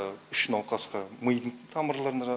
үш науқасқа мидың тамырларына